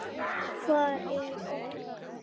Hvar er Bogga?